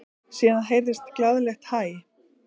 Síðan heyrðist glaðlegt hæ.